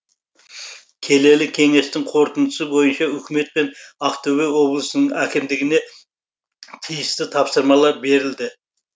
келелі кеңестің қорытындысы бойынша үкімет пен ақтөбе облысының әкімдігіне тиісті тапсырмалар берілді